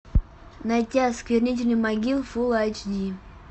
найти осквернители могил фул айч ди